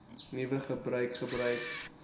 nuwe gebruik gebruik